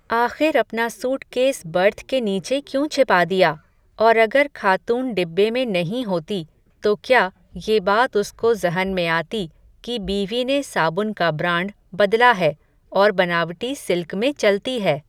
आख़िर अपना suitcase berth के नीचे क्यों छिपा दिया, और अगर खातून डिब्बे में नहीं होती, तो क्या, ये बात उसको ज़हन में आती, कि बीवी ने साबुन का ब्राण्ड बदला है, और बनावटी सिल्क में चलती है